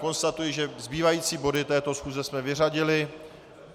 Konstatuji, že zbývající body této schůze jsme vyřadili.